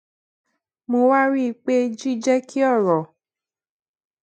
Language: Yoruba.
mo wá rí i pé jíjé kí òrò